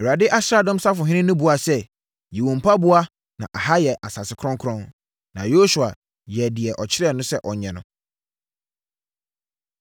Awurade asraadɔm safohene no buaa sɛ, “Yi wo mpaboa na ɛha yɛ asase kronkron.” Na Yosua yɛɛ deɛ ɔkyerɛɛ no sɛ ɔnyɛ no.